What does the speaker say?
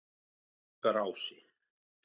Norðlingaási